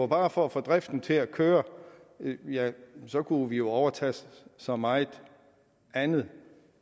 bare var for at få driften til at køre ja så kunne vi jo overtage så meget andet